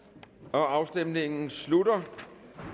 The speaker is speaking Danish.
afstemningen slutter